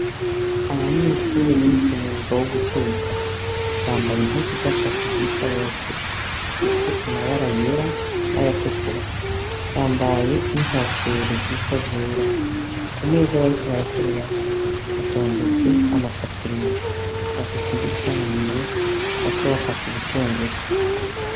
Abanyeshure bize umwuga wo guteka bambaye impuzu z’akazi zisa hose zifise amabara yera n’ayatukura bambaye n’inkofero zisa zera. kumeza bariko barakorerako hatondetse amasafuriya, bafise imbugita muminwe bariko bakata ibitunguru.